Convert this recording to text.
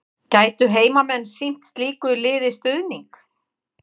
Gætu heimamenn sýnt slíku liði stuðning?